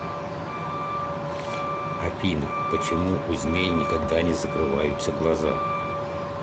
афина почему у змей никогда не закрываются глаза